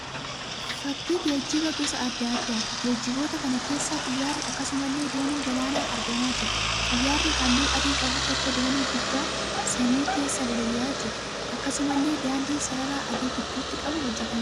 Fakkii geejjiba gosa adda addaati. Geejjiboota kana keessa xiyyaarri akkasumallee dooniin galaanaa argamaa jira. Xiyyaarri halluu adii qabu tokkoo doonii gubbaan samii keessa balali'aa jira. Akkasumallee daandiin sarara adii gidduuti qabu hojjetamee jira.